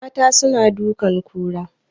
Mata suna dukan kura